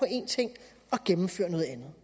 en ting og gennemførte noget andet